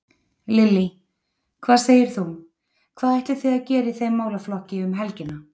Lillý: Hvað segir þú, hvað ætlið þið að gera í þeim málaflokki um helgina?